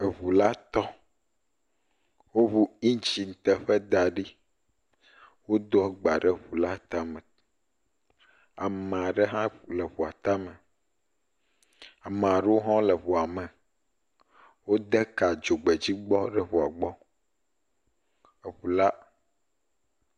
Eŋu la tɔ, woŋu indzin teƒe da ɖi, wodo agba ɖe ŋu la tame, ame aɖe hã le ŋua tame, ame aɖewo hã le ŋuame, wode ka dzogbedzi gbɔ ɖe ŋua gbɔ.